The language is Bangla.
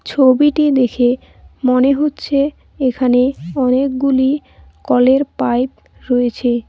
ছবিটি দেখে মনে হচ্ছে এখানে অনেকগুলি কলের পাইপ রয়েছে।